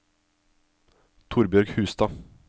Torbjørg Hustad